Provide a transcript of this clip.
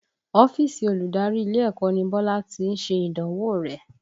Ọ́fíìsì olùdarí ilé ẹ̀kọ́ ni Bọ́lá tí ṣe ìdánwò rẹ̀